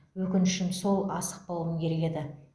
өкінішім сол асықпауым керек еді